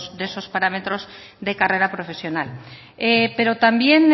de esos parámetros de carrera profesional pero también